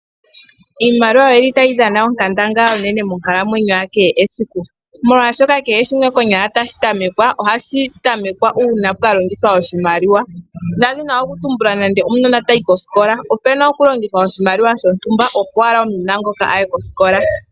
Iimaliwa oyili tayi dhana onkandangala onene monkalamwenyo ya kehe esiku molwashoka kehe shimwe konyala tashi tamekwa ohashi tamekwa uuna pwa longithwa oshimaliwa ngaashi okanona taka yi kosikola opu na okulongithwa oshimaliwa shotumba opo okanona hoka kaye kosikola.